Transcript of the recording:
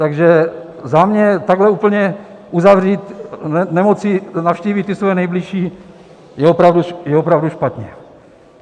Takže za mě takhle úplně uzavřít, nemoci navštívit ty svoje nejbližší, je opravdu špatně.